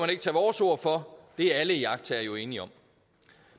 ikke tage vores ord for det er alle iagttagere jo enige om